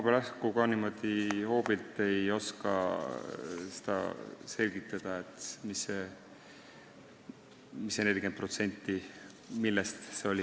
Ma ei oska praegu ka niimoodi hoobilt selgitada, mida see 40% siin tähendab, mille kohta see on.